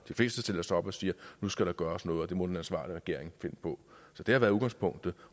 fleste stiller sig op og siger at nu skal der gøres noget og det må den ansvarlige regering finde på så det har været udgangspunktet